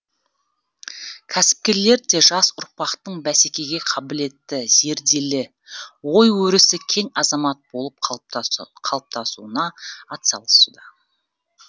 кәсіпкерлер де жас ұрпақтың бәсекеге қабілетті зерделі ой өрісі кең азамат болып қалыптасуына атсалысуда